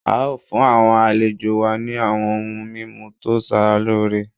A o fun awọn alejo wa ni awọn oun mimu to sara loore